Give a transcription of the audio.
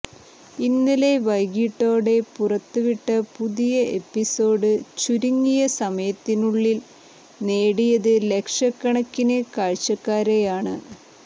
ഇന്നലെ വൈകിട്ടോടെ പുറത്ത് വിട്ട പുതിയ എപ്പിസോഡ് ചുരുങ്ങിയ സമയത്തിനുള്ളിൽ നേടിയത് ലക്ഷക്കണക്കിന് കാഴ്ചക്കാരെയാണ്